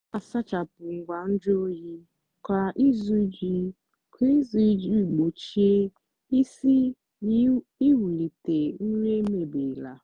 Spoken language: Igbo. na-asachapụ ngwa nju oyi kwa izu iji kwa izu iji gbochie isi na iwulite nri mebiela.